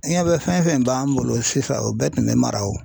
I ɲɛ bɛ fɛn fɛn b'an bolo sisan o bɛɛ tun bɛ mara o.